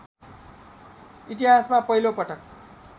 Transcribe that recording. इतिहासमा पहिलो पटक